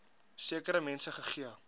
sekere mense gegee